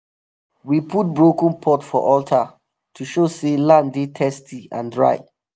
we put broken pot for altar to show say land dey thirsty and dry.